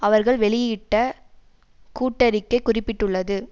அவர்கள் வெளியிட்ட கூட்டறிக்கை குறிப்பிட்டுள்ளது